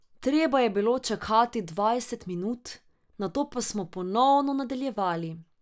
Treba je bilo čakati dvajset minut, nato pa smo ponovno nadaljevali.